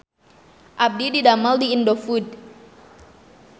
Abdi didamel di Indofood